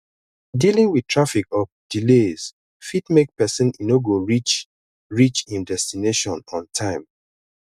dealing with traffic or delays fit make pesin e no go reach reach im destination on time